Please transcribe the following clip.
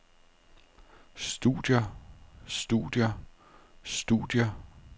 studier studier studier